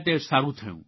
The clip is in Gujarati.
તે સારૂં થયું